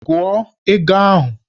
Gụọ ego ahụ!